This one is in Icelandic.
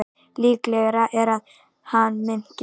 Líklegra er að hann minnki.